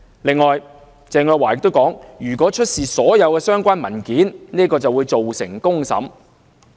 此外，鄭若驊又表示，如果出示所有相關文件，會造成公審。